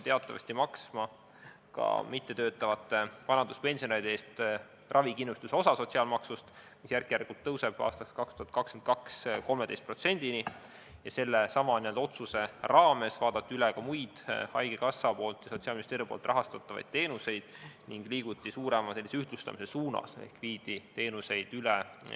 Teatavasti hakati ka mittetöötavate vanaduspensionäride eest maksma ravikindlustuse osa sotsiaalmaksust, mis järk-järgult tõuseb, 2022. aastaks 13%-ni, ja sellesama otsuse raames vaadati üle ka muid haigekassa ja Sotsiaalministeeriumi rahastatavaid teenuseid ning liiguti suurema ühtlustamise suunas ehk viidi teenuseid üle.